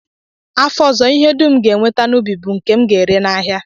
Afọ ọzọ, ihe dum m ga-enweta n'ubi m bụ nke m ga-ere n'ahịa